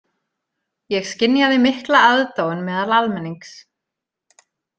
Ég skynjaði mikla aðdáun meðal almennings.